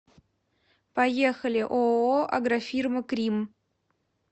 поехали ооо агрофирма кримм